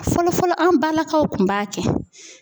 Fɔlɔfɔlɔ an balakaw kun b'a kɛ